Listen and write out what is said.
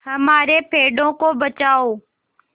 हमारे पेड़ों को बचाओ